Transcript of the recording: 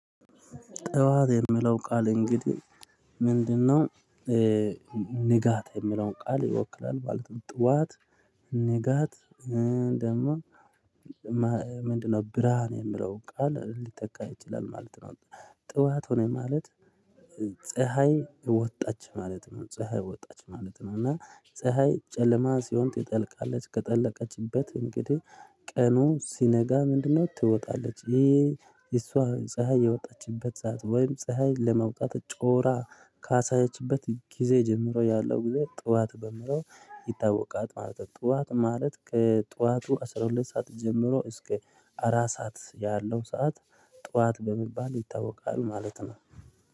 ጠዋት የሚለው ቃል እንግዲህ ምንድነው? ንጋት የሚለውን ቃል ይወክላል ማለት ነው። ጠዋት ንጋት ደግሞ ምንድነው? ብርሃን የምለው ቃል ሊተካ ይችላል ማለት ነው። ጠዋት ሆነ ማለት። ፀሀይ ወጣች ማለት ነው ፀሀይ ወጣች ማለት ነው። እና ፀሀይ ጨለማ ሲሆን ትጠልቃለች ከጠለቀችበት እንግዲህ ቀኑ ሲነጋ ምንድነው? ትወጣለች ይሄ እሷ ፀሀይ የወጣችበት ሰዓት ወይም ፀሀይ ለመውጣት ጮራ ካሳየችበት ጊዜ ጀምሮ ያለው ጊዜ ጠዋት በሚለው ይታወቃል። ማለት ጠዋት ማለት ከጠዋቱ አስራ ሁለት ሰዓት ጀምሮ እስከ አራት ሰዓት ያለው ሰዓት ጠዋት በሚባል ይታወቃል ማለት ነው